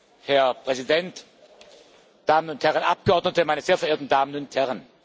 Herr Präsident, Damen und Herren Abgeordnete, meine sehr verehrten Damen und Herren!